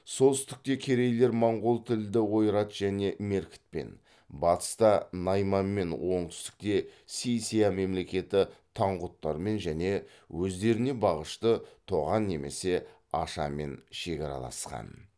солтүстікте керейлер монғол тілді ойрат және меркітпен батыста найманмен оңтүстікте си ся мемлекеті таңғұттармен және өздеріне бағынышты тоған немесе аша мен шекараласқан